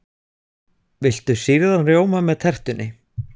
Viltu sýrðan rjóma með tertunni?